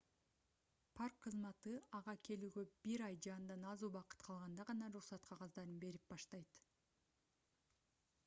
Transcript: парк кызматы minae ага келүүгө бир ай же андан аз убакыт калганда гана уруксат кагаздарын берип баштайт